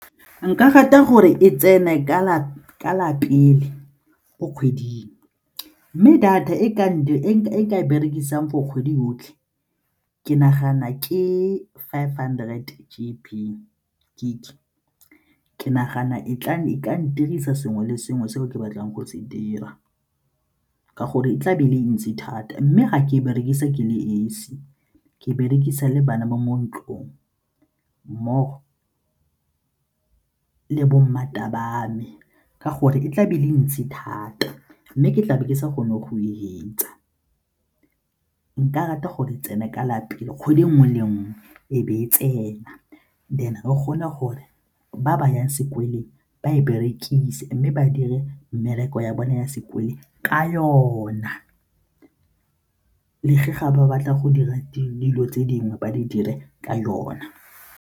Nka rata gore e tsene ka la pele go kgweding mme data e nka e berekisang for kgwedi yotlhe ke nagana ke five hundred G_B gig, ke nagana e ka ntirisa sengwe le sengwe seo ke batlang go se dira ka gore tla be e le ntsi thata mme ga ke berekisa ke le esi, ke berekisa le bana ba mo ntlong mmogo le ba me ka gore e tla be le ntsi thata mme ke tlabe ke sa kgone go e fetsa. Nka rata gore e tsene ka lapeng, kgwedi e nngwe le nngwe e be e tsena then re gone gore ba ba yang sekolong ba e berekise mme ba dire mmereko ya bone ya sekolong ka yona, ga ba batla go dira dilo tse dingwe ba di dire ka yona.